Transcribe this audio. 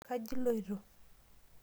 Kaji iloto?